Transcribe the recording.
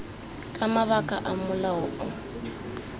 ka mabaka a molao o